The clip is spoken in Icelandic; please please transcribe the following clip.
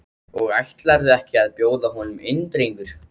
Og ætlarðu ekki að bjóða honum inn drengur?